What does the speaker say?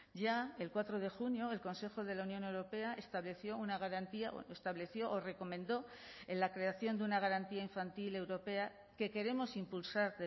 ya el cuatro de junio el consejo de la unión europea estableció una garantía estableció o recomendó en la creación de una garantía infantil europea que queremos impulsar